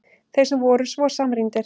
Þeir sem voru svo samrýndir!